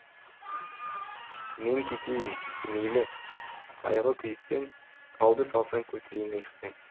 мен кетейін мейлі қайғы күйіктен тауды салсаң көтерейін иықпен